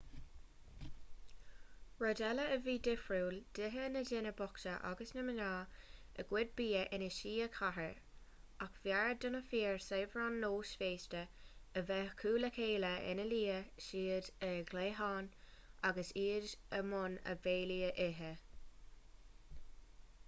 rud eile a bhí difriúil d'itheadh na daoine bochta agus na mná a gcuid bia ina suí i gcathaoir ach b'fhearr do na fir saibhre an nós féasta a bheith acu le chéile ina luíodh siad ar a gcliathán agus iad i mbun a mbéilí a ithe